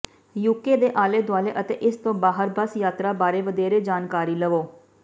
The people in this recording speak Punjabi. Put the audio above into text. ਯੂਕੇ ਦੇ ਆਲੇ ਦੁਆਲੇ ਅਤੇ ਇਸ ਤੋਂ ਬਾਹਰ ਬੱਸ ਯਾਤਰਾ ਬਾਰੇ ਵਧੇਰੇ ਜਾਣਕਾਰੀ ਲਵੋ